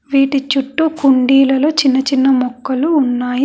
వీటి చుట్టూ కుండీలలో చిన్న చిన్న మొక్కలు ఉన్నాయి.